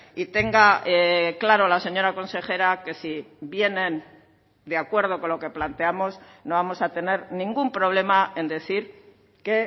y tenga claro la señora consejera que si vienen de acuerdo con lo que planteamos no vamos a tener ningún problema en decir que